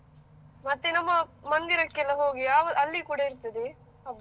ಮತ್ತೆ ನಮ್ಮ ಮಂದಿರಕ್ಕೆಲ್ಲ ಹೋಗಿ ಆಗ ಅಲ್ಲಿ ಕೂಡ ಇರ್ತದೆ ಕಬ್ಬು.